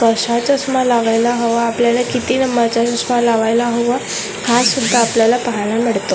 कशा चष्मा लागायला हवा आपल्याला किती नंबरचा चष्मा लावायला हवा हासुद्धा आपल्याला पाहायला मिडतं.